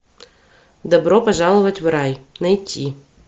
добро пожаловать в рай найти